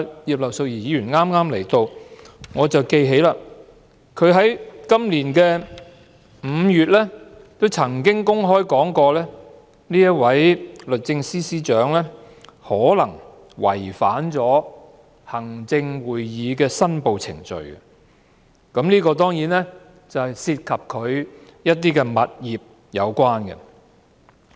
葉劉淑儀議員剛進入會議廳，我記得她在今年5月曾經公開表示，這位律政司司長可能違反了行政會議的申報程序，而這當然是與物業有關的。